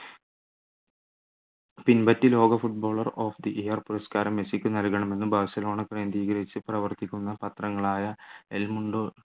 ലോക footballer of the year പുരസ്കാരം മെസ്സിക്ക് നൽകണമെന്ന് ബാഴ്സലോണ കേന്ദ്രീകരിച്ചു പ്രവർത്തിക്കുന്ന പത്രങ്ങളായ എൽ മുണ്ടോ